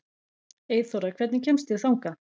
Eyþóra, hvernig kemst ég þangað?